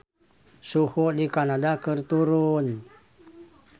Suhu di Kanada keur turun